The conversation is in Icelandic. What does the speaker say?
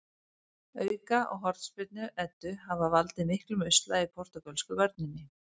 Auka- og hornspyrnu Eddu hafa valdið miklum usla í portúgölsku vörninni.